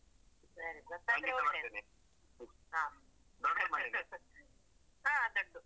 ಸರಿ ಗೊತ್ತಾದ್ರೆ ಒಳ್ಳೇದು ಹಾ ಹಾ ದೊಡ್ದು.